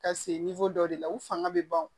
Ka se dɔ de la u fanga bɛ ban o